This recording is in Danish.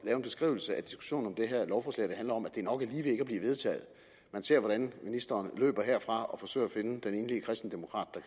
en beskrivelse af diskussionen af det her lovforslag der handler om at blive vedtaget man ser hvordan ministeren løber herfra og forsøger at finde den enlige kristendemokrat